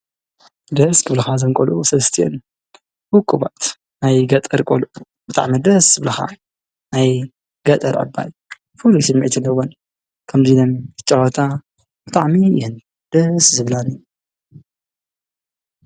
ደስ ብልኻ ዘንቀሉ ሠስቲን ሁኩባት ናይ ገጠር ቖሉ ብጥዕሚ ደስ ብለኻ ናይ ገጠር ኣባይ ፍሉስንመይትለወን ከምዙይ ነም ክጨዋታ ብታዕሚ ይን ደስ ዝብላኒ።